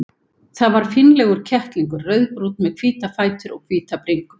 Það var fínlegur kettlingur, rauðbrúnn með hvíta fætur og hvíta bringu.